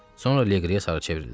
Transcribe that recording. Sonra Liqriyə sarı çevrildi.